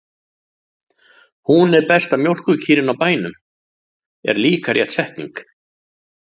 Hún er besta mjólkurkýrin á bænum, er líka rétt setning.